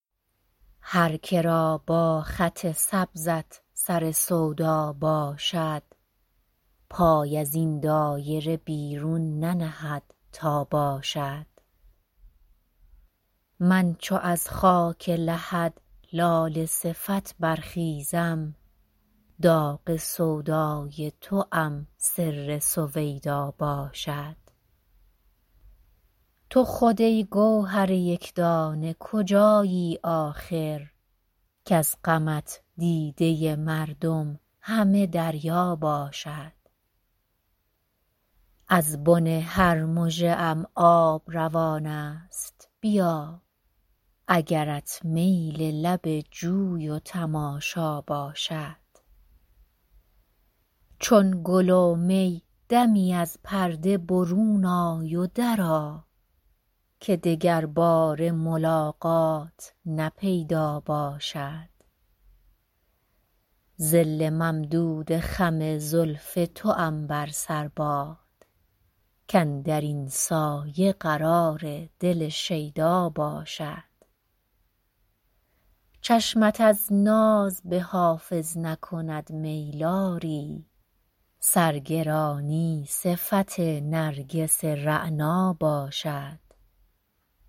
هر که را با خط سبزت سر سودا باشد پای از این دایره بیرون ننهد تا باشد من چو از خاک لحد لاله صفت برخیزم داغ سودای توام سر سویدا باشد تو خود ای گوهر یک دانه کجایی آخر کز غمت دیده مردم همه دریا باشد از بن هر مژه ام آب روان است بیا اگرت میل لب جوی و تماشا باشد چون گل و می دمی از پرده برون آی و درآ که دگرباره ملاقات نه پیدا باشد ظل ممدود خم زلف توام بر سر باد کاندر این سایه قرار دل شیدا باشد چشمت از ناز به حافظ نکند میل آری سرگرانی صفت نرگس رعنا باشد